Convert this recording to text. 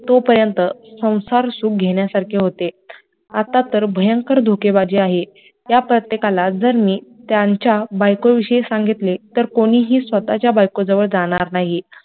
तो पर्यंत सौंसार सुख घेण्या सारखे होते आता तर भयंकर धोकेबाजी आहे, त्या प्रत्येकाला जर मी त्यांच्या बायको विषयी सांगितले तर कोणीही स्वतःच्या बायको जवळ जाणार नाही